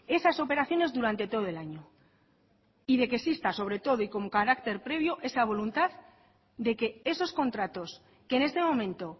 esas operaciones durante todo el año y de que exista sobre todo y con carácter previo esa voluntad de que esos contratos que en este momento